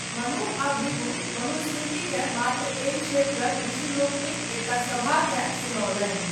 मनु आ भृगु मनुस्मृतिकेँ मात्र एहि क्षेत्रक ऋषिलोकनिकक एकटा सभाकेँ सुनओलनि।